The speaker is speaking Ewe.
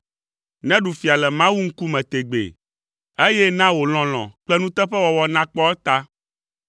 Neɖu fia le Mawu ŋkume tegbee, eye na wò lɔlɔ̃ kple nuteƒewɔwɔ nakpɔ eta.